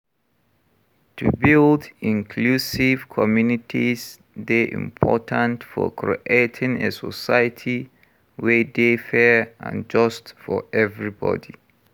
To build inclusive communities dey important for creating a society wey dey fair and just for everybody.